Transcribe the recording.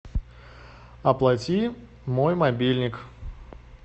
оплати мой мобильник